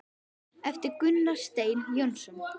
eftir Gunnar Stein Jónsson